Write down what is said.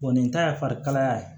nin ta ye fari kalaya ye